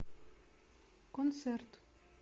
концерт